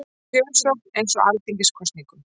Kjörsókn eins og í alþingiskosningum